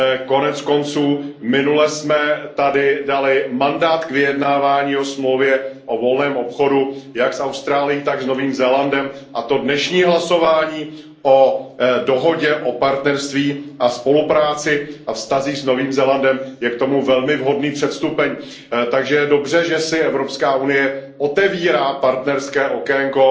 Konec konců minule jsme tady dali mandát k vyjednávání o smlouvě o volném obchodu jak s Austrálií, tak s Novým Zélandem, a to dnešní hlasování o dohodě o partnerství a spolupráci a vztazích s Novým Zélandem je k tomu velmi vhodný předstupeň, takže je dobře, že si Evropská unie otevírá partnerské okénko